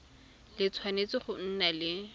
le tshwanetse go nna le